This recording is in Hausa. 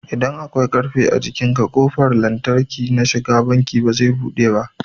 idan akwai ƙarfe a jikinka ƙofar lantarki na shiga banki bazai buɗe ba